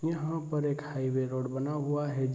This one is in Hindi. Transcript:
यहाँ पर एक हाईवे रोड बना हुआ है।